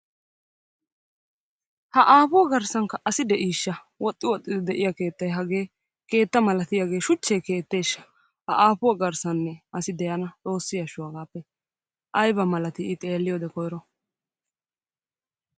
Ha aapuwa garssankka asi de"iisha? Woxxi woxxidi de'iya keettay hagee keetta malatiyaagee shuchche keetteeshsha? Ha aapuwa garsaninne asi de"anee? Xoossi ashsho hagaappe ayiba malati i xeelliyoode koyiro?